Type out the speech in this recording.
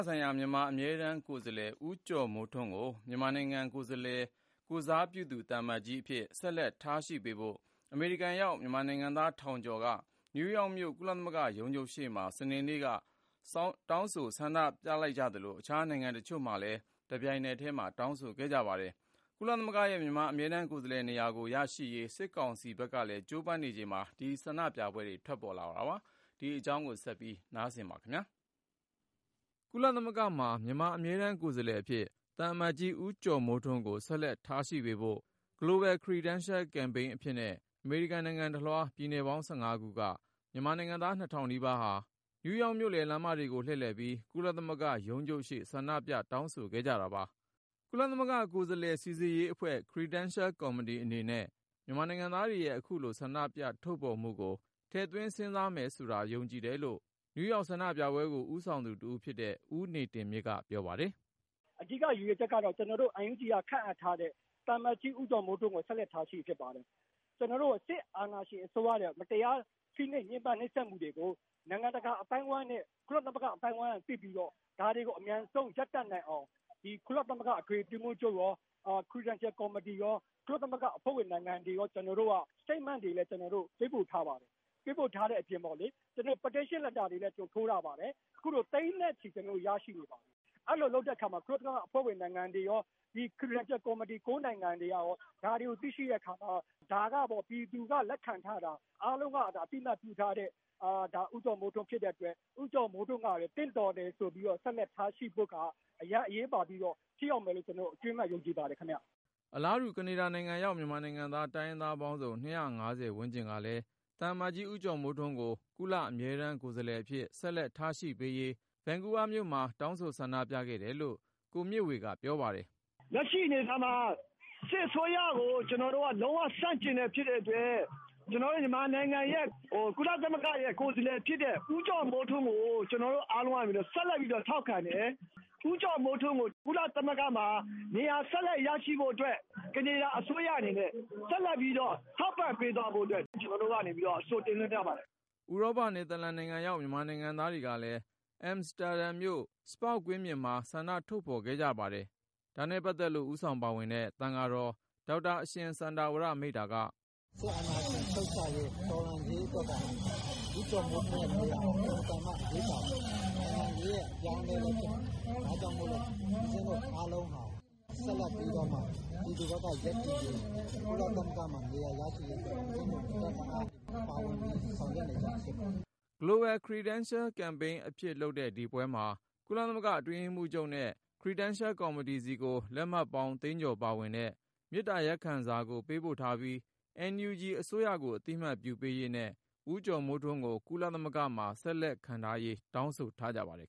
ဆိုင်ရာ မြန်မာ အမြဲတမ်းကိုယ်စားလှယ် ဦးကျော်မိုးထွန်းကို မြန်မာနိုင်ငံ ကိုယ်စားပြုသူ သံအမတ်ကြီးအဖြစ် ဆက်လက် ထားရှိပေးဖို့ အမေရိကန်ရောက် မြန်မာနိုင်ငံသား ထောင်ကျော်က နယူးယောက်မြို့ ကုလသမဂ္ဂရုံးချုပ်ရှေ့မှာ စနေနေ့က ဆန္ဒပြတောင်းဆို လိုက်ကြသလို ၊ အခြား နိုင်ငံတချို့မှာပါ တပြိုင်နက်ထဲ တောင်းဆိုခဲ့ကြတာပါ။ ကုလသမဂ္ဂရဲ့ မြန်မာ အမြဲတမ်းကိုယ်စားလှယ်နေရာကို ရရှိရေး စစ်ကောင်စီဖက်ကလည်း ကြိုးပမ်းနေချိန်မှာ ဒီဆန္ဒပြပွဲတွေ ထွက်ပေါ်လာတာပါ။ ဒီအကြောင်း ကိုဉာဏ်ဝင်းအောင်က စုစည်း တင်ပြထားပါတယ်။ ကုလသမဂ္ဂမှာ မြန်မာ အမြဲတမ်းကိုယ်စားလှယ်အဖြစ် သံအမတ်ကြီး ဦးကျော်မိုးထွန်းကို ဆက်လက် ထားရှိပေးဖို့ Global Credentials Campaign အဖြစ်နဲ့ အမေရိကန်နိုင်ငံတလွှား ပြည်နယ်ပေါင်း ခုက မြန်မာနိုင်ငံသား နီးပါးဟာ နယူးယောက်မြို့လယ် လမ်းမတွေကို လှည့်လည်ပြီး ကုလသမဂ္ဂရုံးချုပ်ရှေ့ ဆန္ဒပြ တောင်းဆိုခဲ့ကြတာပါ။ ကုလသမဂ္ဂ ကိုယ်စားလှယ် စိစစ်ရေးအဖွဲ့ Credential Committee အနေနဲ့ မြန်မာနိုင်ငံသားတွေရဲ့ အခုလို ဆန္ဒထုတ်ဖေါ်မှုကို ထည့်သွင်းစဉ်းစားမယ်ဆိုတာ ယုံကြည်တယ်လို့ နယူးဆန္ဒပြပွဲကို ဦးဆောင်သူတဦးဖြစ်တဲ့ ဦးနေတင်မြင့်က ပြောပါတယ်။ " အဓိကတော့ NUG အစိုးရက ခန့်အပ်ထားတဲ့ ဦးကျော်မိုးထွန်းကို ကုလသမဂ္ဂမှာ ဆက်လက် ထားရှိရေး ဖြစ်ပါတယ်။ ကုလအတွင်းရေးမှူးချုပ်ရော Credential Committee ကိုရော ကျနော်တို့ရဲ့သဘောထား ကြေညာချက်တွေ ပေးပို့ထားပြီးသား ဖြစ်ပါတယ်။ အဲဒါအပြင် မေတ္တာရပ်ခံလွှာမှာ မြန်မာတွေ သိန်းနဲ့ချီ လက်မှတ်ရေးထိုးထားတဲ့ စာကိုလည်း ပေးပို့ထားပါတယ်။ ကုလအဖွဲ့ဝင် နိုင်ငံတွေကရော ခရီဒန်ရှယ် နိုင်ငံကရော ဒါတွေကို သိရှိတဲ့အခါမှာ ဒါက ပြည်သူက လက်ခံထားတဲ့လူဆိုတာမျိုး သူတို့ သိရှိပြီးတော့ ဦးကျော်မိုးထွန်းကို ဆက်လက်ထားရှိဖို့ အရမ်းအရေးပါတဲ့ လုပ်ဆောင်ချက်လို့ ထင်ပါတယ်။" အလားတူ ကနေဒါနိုင်ငံရောက် မြန်မာနိုင်ငံသား တိုင်းရင်းသားပေါင်းစုံ ဝန်းကျင်ကလည်း သံအမတ်ကြီး ဦးကျော်မိုးထွန်းကို ကုလ အမြဲတမ်းကိုယ်စားလှယ်အဖြစ် ဆက်လက် ထားရှိပေးရေး ဗန်ကူးဗားမြို့မှာ တောင်းဆိုဆန္ဒပြခဲ့ကြောင်း ကိုမြင့်ဝေက ပြောပါတယ်။ " စစ်အစိုးရကို ကျနော်တို့က လုံးဝ ဆန့်ကျင်တာ ဖြစ်တဲ့အတွက် မြန်မာရဲ့ ကုလ အမြဲတမ်းကိုယ်စားလှယ်ဖြစ်တဲ့ ဦးကျော်မိုးထွန်းကို ကျနော်တို့ ဆက်လက်ရှိစေချင်တယ် ၊ ထောက်ခံတယ်ဆိုတဲ့ သဘောနဲ့ ဆန္ဒပြနေတာပါ။ ဦးကျော်မိုးထွန်း ကုလသမဂ္ဂမှာ နေရာ ဆက်လက်ရရှိဖို့ ကနေဒါအစိုးရကလည်း ထောက်ခံမှု ပေးဖို့ တောင်းဆိုနေတာပါ။" ဥရောပ နယ်သာလန်နိုင်ငံရောက် မြန်မာနိုင်ငံသားတွေကလည်း အမ်စတာဒမ်မြို့ ကွင်းပြင်မှာ ဆန္ဒထုတ်ဖေါ်ခဲ့ကြပါတယ်။ ဒါနဲ့ပတ်သက်လို့ ဦးဆောင်ပါဝင်တဲ့ သံဃာတော် ဒေါက်တာ အရှင်စန္ဒာဝရ မိန့်တာက - " စစ်အာဏာရှင် ပြုတ်ကျရေး တော်လှန်ရေးအတွက်က ဦးကျော်မိုးထွန်းရဲ့ နေရာ အင်မတန်မှ အရေးကြီးပါတယ်။ ဒါကြောင့် ဦးကျော်မိုးထွန်း ကုလသမဂ္ဂမှာ နေရာဆက်ပြီး ရရှိရေး ဆန္ဒ ထုတ်ဖေါ်နေတာပါ။" Global Credentials Campaign အဖြစ်လုပ်တဲ့ ဒီပွဲမှာ ကုလသမဂ္ဂအတွင်းရေးမှူးချုပ်နဲ့ Credential Committee ဆီကို လက်မှတ်ပေါင်း သိန်းကျော်ပါဝင်တဲ့ မေတ္တာရပ်ခံစာကို ပေးပို့ထားပြီး NUG အစိုးရကို အသိမှတ်ပြုပေးရေးနဲ့ ဦးကျော်မိုးထွန်းကို ကုလသမဂ္ဂမှာ ဆက်လက်ခန့်ထားရေး တောင်းဆိုထားကြပါတယ်